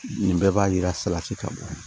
Nin bɛɛ b'a yira salati ka bɔ yen